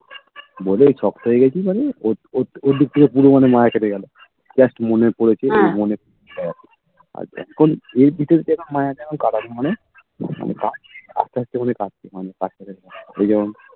বলেই শক্ত হয়ে গেছিস মানে ওর ওর ওর দিক থেকে পুরো মানে মায়া কেটে গেল just মনে পড়েছে মনে আহ আর যখন এই ভিতর যখন মায়াজাল কাটার মানে আস্তে আস্তে বলে কাটছে মানে কাজটা করে ওই যেমন